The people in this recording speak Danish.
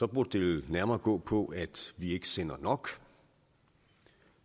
burde det vel nærmere gå på at vi ikke sender nok